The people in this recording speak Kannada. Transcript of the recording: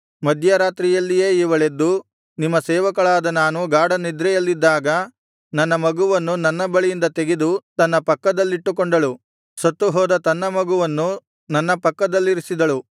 ಮಧ್ಯರಾತ್ರಿಯಲ್ಲಿಯೇ ಇವಳೆದ್ದು ನಿಮ್ಮ ಸೇವಕಳಾದ ನಾನು ಗಾಢನಿದ್ರೆಯಲ್ಲಿದ್ದಾಗ ನನ್ನ ಮಗುವನ್ನು ನನ್ನ ಬಳಿಯಿಂದ ತೆಗೆದು ತನ್ನ ಪಕ್ಕದಲ್ಲಿಟ್ಟುಕೊಂಡಳು ಸತ್ತು ಹೋದ ತನ್ನ ಮಗುವನ್ನು ನನ್ನ ಪಕ್ಕದಲ್ಲಿರಿಸಿದಳು